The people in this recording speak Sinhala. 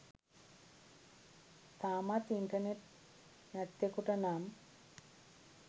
තාමත් ඉන්ටර්නෙට් නැත්තෙකුට නම්